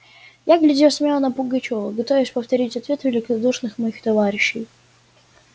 я глядел смело на пугачёва готовясь повторить ответ великодушных моих товарищей